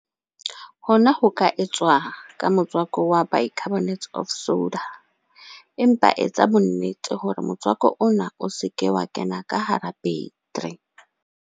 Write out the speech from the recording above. Hona ho ka etswa ka motswako wa bicarbonate of soda, empa etsa bonnete hore motswako ona o se ke wa kena ka hara battery.